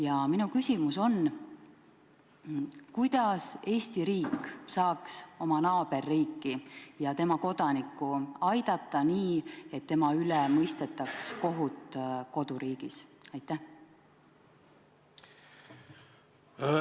Ja minu küsimus on: kuidas Eesti riik saaks meie naaberriiki ja tema kodanikku aidata nii, et tema üle mõistetaks kohut koduriigis?